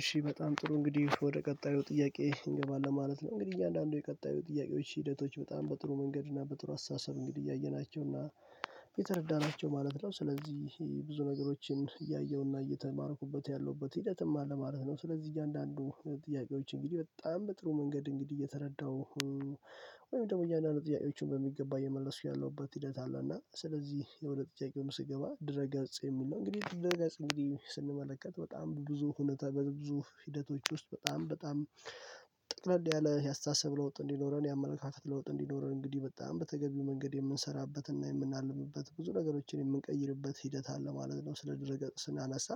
እሺ በጣም ጥሩ እንግዲህ ወደ ቀጣዩ ጥያቄ እንገባለን ማለት ነው። እንግዲህ እያንዳንዱ የቀጣዩ ጥያቄዎች ሂደቶች በጣም በጥሩ መንገድ እና በጥሩ አስተሳሰብ እንግዲህ እያየናቸው እና የተረዳናቸው ማለት ነው። ስለዚህ ብዙ ነገሮችን እያየሁና እየተማርኩበት ያለሁበት ሂደትም አለ ማለት ነው። ስለዚህ እያንዳንዱ ጥያቄዎች እንግዲህ በጣም በጥሩ መንገድ እንግዲህ እየተረዳው ወይም ደግሞ እያንዳንዱ ጥያቄዎችን በሚገባ እየመለሱ ያለውበት ሂደት አለ። እና ስለዚህ የሁለት ጥያቄውን ስገባ ድረ ገጽ የሚል ነው። እንግዲህ ድረ ገጽ እንግዲህ ስንመለከት በጣም ብዙ ሁኔታ በብዙ ሂደቶች ውስጥ በጣም በጣም ያለ ያስተሳሰብ ለውጥ እንዲኖረን የአመለካከት ለውጥ እንዲኖረን እንግዲህ በጣም በተገቢው መንገድ የምንሰራበትና የምናልብበት ብዙ ነገሮችን የምንቀይርበት ሂደት አለ ማለት ነው። ስለ ድረገጽ ስናነሳ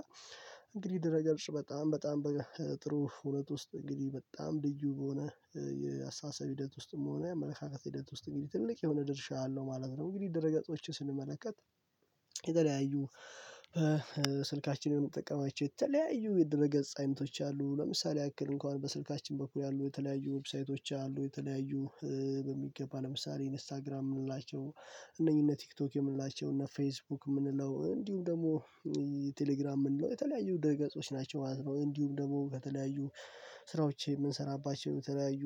እንግዲህ ድረገጽ በጣም በጣም በጣም ጥሩ ሁኔታ ውስጥ እንግዲህ በጣም ልዩ በሆነ የአስተሳሰብ ሂደት ውስጥም ሆነ የአመለካከት ሂደት ውስጥ እንግዲህ ትልቅ የሆነ ድርሻ አለው ማለት ነው። እንግዲህ ደረገጾችን ስንመለከት የተለያዩ ስልካችንን የምንጠቀማቸው የተለያዩ የድለ ገጽ አይነቶች አሉ። ለምሳሌ ያክል እንኳን በስልካችን በኩል ያሉ የተለያዩ ዌብሳይቶች አሉ የተለያዩ በሚገባ ለምሳሌ ኢንስታግራም የምንላቸው እነኚህ እነ ቲክቶክ የምንላቸው እና ፌስቡክ የምንለው እንዲሁም ደግሞ ቴሌግራም የምንለው የተለያዩ ደገጾች ናቸው ማለት ነው። እንዲሁም ደግሞ በተለያዩ ስራዎቼ የምንሰራባቸው የተለያዩ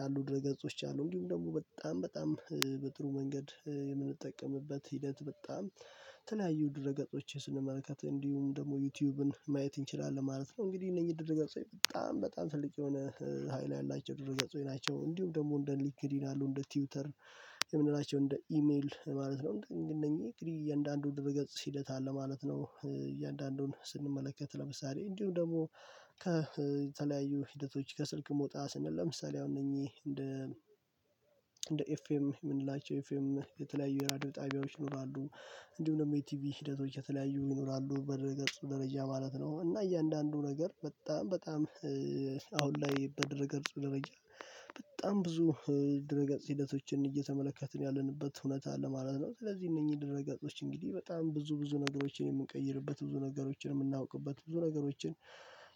ያሉ ድረ ገጾች አሉ። እንግዲሁም ደግሞ በጣም በጣም በጥሩ መንገድ የምንጠቀምበት ሂደት በጣም የተለያዩ ድረገጾችን ስንመልከት እንዲሁም ደግሞ ዩቲዩብን ማየት እንችላለን ማለት ነው። እንግዲህ እነኚህ ድረገጾች በጣም በጣም ትልቅ የሆነ ሀይል ያላቸው ድረገጾች ናቸው። እንዲሁም ደግሞ እንደ ሊንክዲን ያሉ እንደ ትዊተር የምንላቸው እንደ ኢሜል ማለት ነው። እነኚህ እነኚህ እያንዳንዱን ድረ ገጽ ሂደት አለ ማለት ነው። እያንዳንዱን ስንመለከት ለምሳሌ እንዲሁ ደግሞ ከተለያዩ ሂደቶች ከስልክ መውጣት ስንል ለምሳሌ አሁን እነኚህ እንደ እንደ ኤፍኤም የምንላቸው የፌም የተለያዩ የራድዮ ጣቢያዎች ይኖራሉ። እንዲሁም ደግሞ የቲቪ ሂደቶች የተለያዩ ይኖራሉ በደረገጽ ደረጃ ማለት ነው። እና እያንዳንዱ ነገር በጣም በጣም አሁን ላይ በድረ ገጽ ደረጃ በጣም ብዙ ድረ ገጽ ሂደቶችን እየተመለከትን ያለንበት እውነት አለ ማለት ነው። ስለዚህ እነኚህ ድረግ እጦች እንግዲህ በጣም ብዙ ብዙ ነገሮችን የምንቀይርበት ብዙ ነገሮችን የምናውቅበት ብዙ ነገሮችን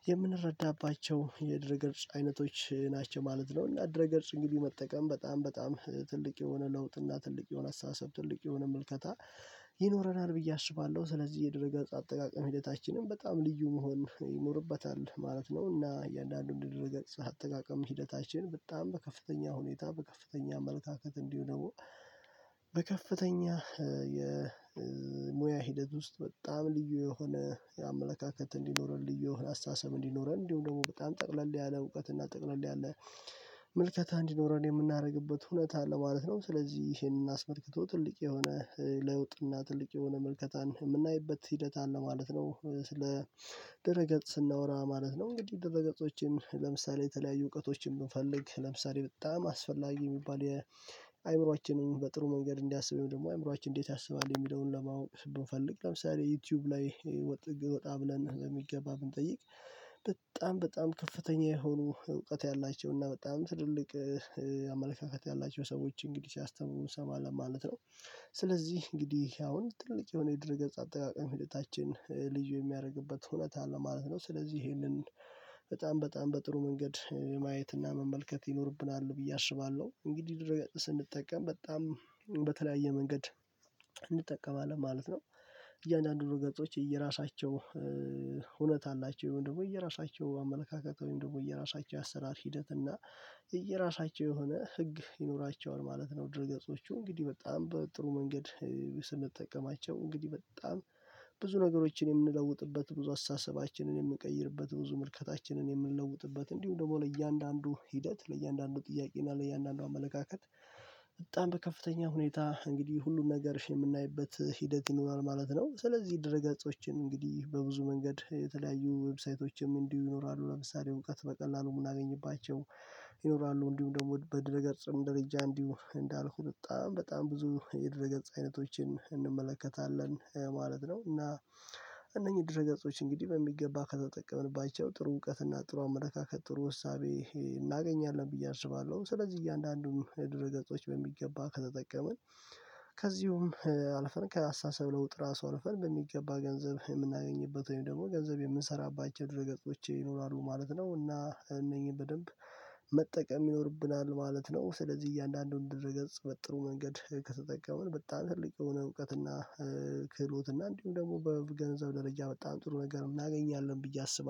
የምንረዳባቸው የድረ ግር አይነቶች ናቸው ማለት ነው። ድረ ገጽ እንግዲህ መጠቀም በጣም በጣም ትልቅ የሆነ ለውጥ እና ትልቅ የሆነ አስተሳሰብ ትልቅ የሆነ ምልከታ ይኖረናል ብዬ አስባለሁ። ስለዚህ የድረገጽ አጠቃቀም ሂደታችንም በጣም ልዩ መሆን ይኖርበታል ማለት ነው። እና እያንዳንዱን ድረገጽ አጠቃቀም ሂደታችን በጣም በከፍተኛ ሁኔታ በከፍተኛ አመለካከት እንዲሁም ደግሞ በከፍተኛ የሙያ ሂደት ውስጥ በጣም ልዩ የሆነ የአመለካከት እንዲኖረን ልዩ አስተሳሰብ እንዲኖረን እንዲሁ ደግሞ በጣም ጠቅለል ያለ እውቀት እና ጠቅለል ያለ ምልከታ እንዲኖረን የምናደርግበት ሁነት አለ ማለት ነው። ስለዚህ ይሄንን አስመልክቶ ትልቅ የሆነ ለውጥና ትልቅ የሆነ መልከታን የምናይበት ሂደት አለ ማለት ነው። ስለ ደረገጽ ስናወራ ማለት ነው። እንግዲህ ድረ ገጾችን ለምሳሌ የተለያዩ እውቀቶችን ብንፈልግ ለምሳሌ በጣም አስፈላጊ የሚባል የአእምሮአችንን በጥሩ መንገድ እንዲያስብ ደግሞ አእምሮአችን እንዴት ያስባል የሚለውን ለማወቅ ብንፈልግ ለምሳሌ ዩቲዩብ ላይ ወጥ ወጣ ብለን በሚገባ ብንጠይቅ በጣም በጣም ከፍተኛ የሆኑ እውቀት ያላቸው እና በጣም ትልልቅ አመለካከት ያላቸው ሰዎች እንግዲህ ሲያስተምሩ እንሰማለን ማለት ነው። ስለዚህ እንግዲህ አሁን ትልቅ የሆነ የድረ ገጽ አጠቃቀም ሂደታችን ልዩ የሚያደርግበት ሁነት አለ ማለት ነው። ስለዚህ ይሄንን በጣም በጣም በጥሩ መንገድ ማየትና መመልከት ይኖርብናል ብዬ አስባለሁ። እንግዲህ ድረገጽ ስንጠቀም በጣም በተለያየ መንገድ እንጠቀማለን ማለት ነው። እያንዳንዱ ገጾች የየራሳቸው ሁነት አላቸው ወይም ደግሞ የየራሳቸው አመለካከት ወይም ደግሞ የየራሳቸው አሰራር ሂደት እና የየራሳቸው የሆነ ህግ ይኖራቸዋል ማለት ነው። ድርገጾቹ እንግዲህ በጣም በጥሩ መንገድ ስንጠቀማቸው እንግዲህ በጣም ብዙ ነገሮችን የምንለውጥበት ብዙ አስተሳሰባችንን የምንቀይርበት ብዙ ምልከታችንን የምንለውጥበት እንዲሁም ደግሞ ለእያንዳንዱ ሂደት ለእያንዳንዱ ጥያቄ እና ለያንዳንዱ አመለካከት በጣም በከፍተኛ ሁኔታ እንግዲህ ሁሉን ነገር የምናይበት ሂደት ይኖራል ማለት ነው። ስለዚህ ድረ ገጾችን እንግዲህ በብዙ መንገድ የተለያዩ ዌብሳይቶችም እንዲሁ ይኖራሉ ለምሳሌ እውቀት በቀላሉ የምናገኝባቸው ይኖራሉ። እንዲሁም ደግሞ በድረገጽም ደረጃ እንዲሁ እንዳልኩት በጣም በጣም ብዙ የድር ገጽ አይነቶችን እንመለከታለን ማለት ነው። እና እነኚህ ድረ ገጾች እንግዲህ በሚገባ ከተጠቀምንባቸው ጥሩ እውቀት እና ጥሩ አመለካከት ጥሩ እሳቤ እናገኛለን ብዬ አስባለሁ። ስለዚህ እያንዳንዱን ድረ ገጾች በሚገባ ከተጠቀምን ከዚሁም አልፈን ከአስተሳሰብ ለውጥ ራሱ አልፈን በሚገባ ገንዘብ የምናገኝበት ወይም ደግሞ ገንዘብ የምንሰራባቸው ድረገጾች ይኖራሉ ማለት ነው። እና እነኚህን በደንብ መጠቀም ይኖርብናል ማለት ነው። ስለዚህ እያንዳንዱን ድርገጽ በጥሩ መንገድ ከተጠቀምን በጣም ትልቅ የሆነ እውቀትና ክህሎትና እንዲሁም ደግሞ በገንዘብ ደረጃ በጣም ጥሩ ነገር እናገኛለን ብዬ አስባለሁ